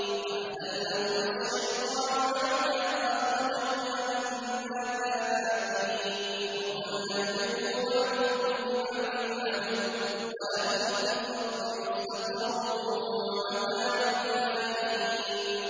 فَأَزَلَّهُمَا الشَّيْطَانُ عَنْهَا فَأَخْرَجَهُمَا مِمَّا كَانَا فِيهِ ۖ وَقُلْنَا اهْبِطُوا بَعْضُكُمْ لِبَعْضٍ عَدُوٌّ ۖ وَلَكُمْ فِي الْأَرْضِ مُسْتَقَرٌّ وَمَتَاعٌ إِلَىٰ حِينٍ